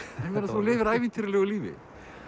þú lifir ævintýralegu lífi